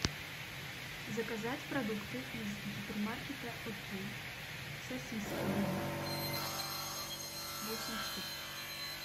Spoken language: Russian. заказать продукты из гипермаркета окей сосиски дымов восемь штук